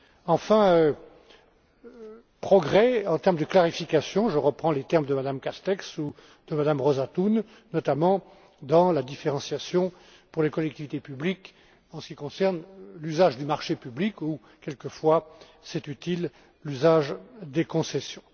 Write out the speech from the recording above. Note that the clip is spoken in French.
Enfin, progrès pour ce qui est de la clarification je reprends les termes de Mme Castex ou de Mme Thun notamment dans la différenciation pour les collectivités publiques en ce qui concerne l'usage du marché public ou quelquefois, c'est utile, l'usage des concessions.